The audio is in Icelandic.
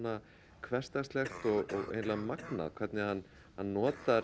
hversdagslegt og eiginlega magnað hvernig hann notar